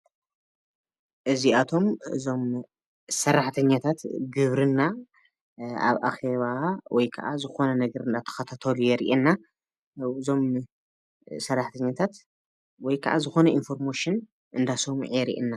እዚኣቶም እዞም ሰራሕተኛታት ግብርና ኣብ ኣኼባ ወይ ከዓ ዝኾነ ነገር እንዳተኻታተሉ የርኤና፡፡ እዞም ሰራሕተኛታት ወይ ክዓ ዝኾነ ኢንፎርሜሽን እንዳሰምዑ የሪኤና፡፡